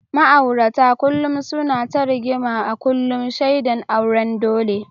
Ma’aurata kullum suna ta rigima a kullum, shaidan auren dole.